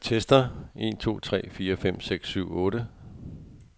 Tester en to tre fire fem seks syv otte.